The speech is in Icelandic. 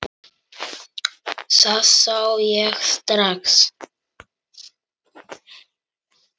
Það sá ég strax.